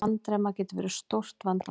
Andremma getur verið stórt vandamál.